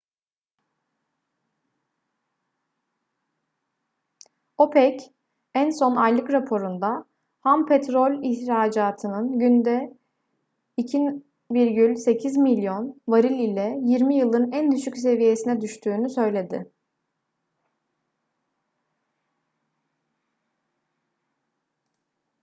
opec en son aylık raporunda ham petrol ihracatının günde 2,8 milyon varil ile yirmi yılın en düşük seviyesine düştüğünü söyledi